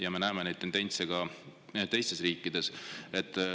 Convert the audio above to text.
Ja me näeme neid tendentse ka teistes riikides.